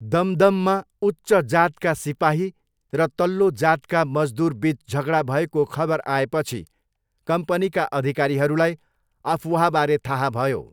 दमदममा उच्च जातका सिपाही र तल्लो जातका मजदुरबिच झगडा भएको खबर आएपछि कम्पनीका अधिकारीहरूलाई अफवाहबारे थाहा भयो।